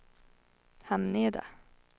Hamneda